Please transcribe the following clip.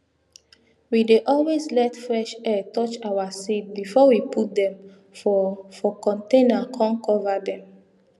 we dey always let fresh air touch our seed before we put dem for for container com cover dem